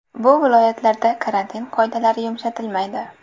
Bu viloyatlarda karantin qoidalari yumshatilmaydi.